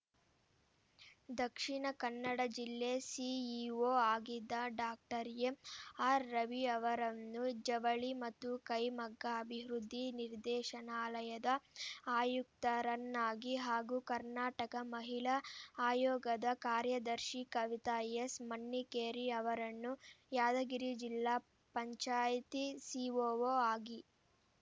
ದಕ್ಷಿಣ ಕನ್ನಡ ಜಿಲ್ಲೆ ಸಿಇಒ ಆಗಿದ್ದ doctor MR Ravi ಅವರನ್ನು ಜವಳಿ ಮತ್ತು ಕೈಮಗ್ಗ ಅಭಿವೃದ್ಧಿ ನಿರ್ದೇಶನಾಲಯದ ಆಯುಕ್ತರನ್ನಾಗಿ ಹಾಗೂ ಕರ್ನಾಟಕ ಮಹಿಳಾ ಆಯೋಗದ ಕಾರ್ಯದರ್ಶಿ ಕವಿತಾ ಎಸ್‌ಮಣ್ಣಿಕೇರಿ ಅವರನ್ನು ಯಾದಗಿರಿ ಜಿಲ್ಲಾ ಪಂಚಾಯ್ತಿ ಸಿಒಒ ಆಗಿ